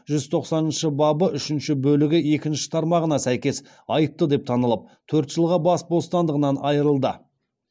жүз тоқсаныншы бабы үшінші бөлігі екінші тармағына сәйкес айыпты деп танылып төрт жылға бас бостандығынан айырылды